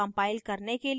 compile करने के लिए type करें